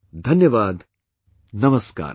Dhanyavaad, Namaskar